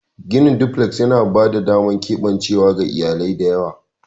Ginin duflek yana ba da damar keɓancewa ga iyalai da yawa.